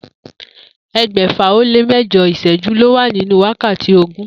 E̩gbè̩fà-ó-lé-mé̩jo̩ ìs̩é̩jú ló wà nínú wákàtí ogún